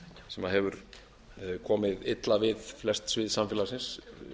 sem hefur komið illa við flest svið samfélagsins